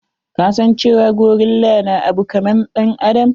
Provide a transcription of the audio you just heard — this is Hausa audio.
Ka san cewa gorilla na abu kaman ɗan adam.